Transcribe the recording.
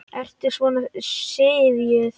Ertu svona syfjuð?